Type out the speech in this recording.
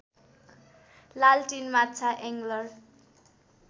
लालटिन माछा एङ्गलर